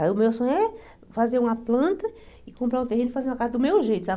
Aí o meu sonho é fazer uma planta e comprar um terreno e fazer uma casa do meu jeito, sabe?